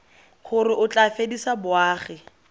gore o tla fedisa boagi